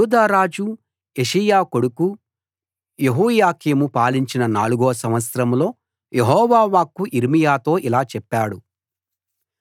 యూదా రాజు యోషీయా కొడుకు యెహోయాకీము పాలించిన నాలుగో సంవత్సరంలో యెహోవా వాక్కు యిర్మీయాతో ఇలా చెప్పాడు